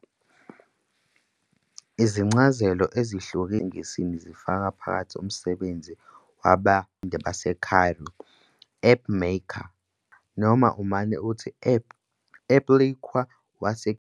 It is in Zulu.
Izincazelo ezihlukile ezidumile esiNgisini zifaka phakathi "umsebenzi wabenzi bamatende baseCairo", "appmaker appliqué" noma umane uthi "appliqué waseGibhithe".